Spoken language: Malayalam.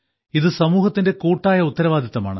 ഇത് സമൂഹത്തിന്റെ കൂട്ടായ ഉത്തരവാദിത്തമാണ്